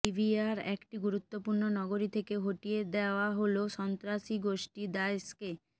লিবিয়ার একটি গুরুত্বপূর্ণ নগরী থেকে হটিয়ে দেয়া হলো সন্ত্রাসীগোষ্ঠী দায়েশকে